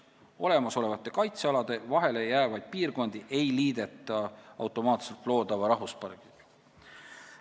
Olemasolevate kaitsealade vahele jäävaid piirkondi ei liideta automaatselt loodava rahvuspargiga.